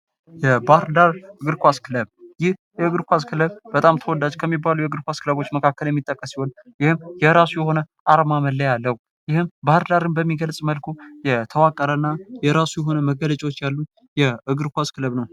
የባህር ዳር እግር ኳስ ክለብ ፦ ይህ የእግር ኳስ ክለብ በጣም ተወዳጅ ከሚባሉ የእግር ኳስ ክለቦች የሚጠቀስ ሲሆን ይህም የራሱ የሆነ አርማ መለያ አለው ።ይህም ባህርዳርን በሚገልጽ መልኩ የተዋቀረ እና የራሱ የሆነ መገለጫዎች ያሉት የእግር ኳስ ክለብ ነው ።